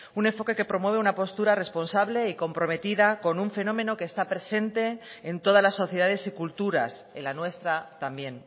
un enfoque que promueve una postura responsable y comprometida con un fenómeno que está presente en toda las sociedades y culturas en la nuestra también